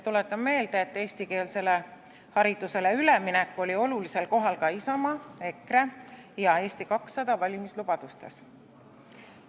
Tuletan meelde, et eestikeelsele haridusele üleminek oli olulisel kohal ka Isamaa, EKRE ja Eesti 200 valimislubadustes.